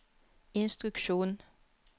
instruksjon